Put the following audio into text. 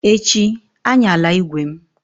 Echi, ayanla ígwè m!